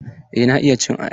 Eh na iya cin ayaba.